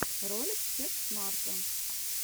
ролик тех смарта